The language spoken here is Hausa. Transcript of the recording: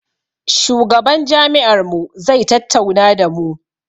Shugaban jami'ar mu zai tattauna da mu